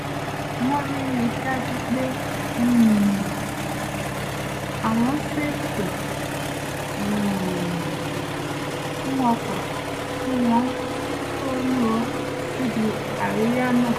wọ́n rí i dájú pé um àwọn ṣètò um fún o̩kò̩ kí wọ́n tó lọ síbi àríyá náà